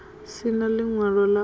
si na ḽiṅwalo ḽa u